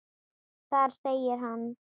Þar segir hann